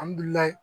Ali